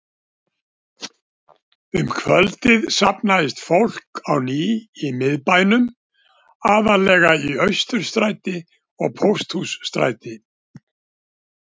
Um kvöldið safnaðist fólk á ný í Miðbænum, aðallega í Austurstræti og Pósthússtræti.